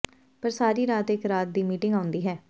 ਪਰ ਸਾਰੀ ਰਾਤ ਇਕ ਰਾਤ ਦੀ ਮੀਟਿੰਗ ਆਉਂਦੀ ਹੈ